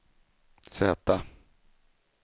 Z